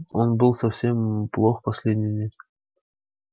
он был совсем плох последние дни